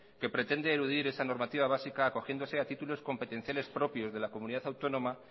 que pretende eludir esa normativa básica acogiéndose a títulos competenciales propios de la comunidad autónoma